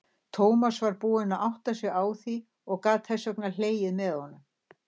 Tómas var búinn að átta sig á því og gat þess vegna hlegið með honum.